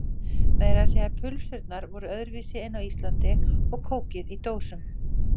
Meira að segja pulsurnar voru öðruvísi en á Íslandi og kókið í dósum.